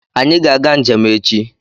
Anyị ga-aga njem echi